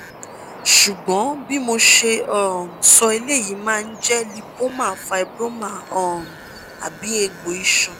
sugbon bi mo se um so eleyi ma n je lipoma fibroma um abi egbo isan